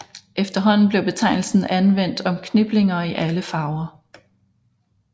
Efterhånden blev betegnelsen anvendt om kniplinger i alle farver